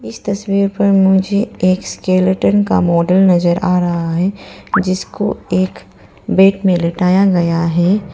इस तस्वीर पर मुझे एक स्केलेटन का मॉडल नजर आ रहा है जिसको एक बेड में लेटाया गया है।